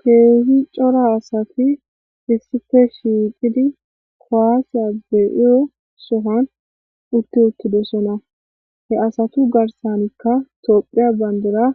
Keehi cora hasafi issife shiiqidi kowaasiya be7iyo sohan utti uttidosona he asatu garsanikka tophiya bandora